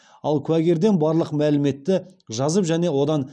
ал куәгерден барлық мәліметті жазып және одан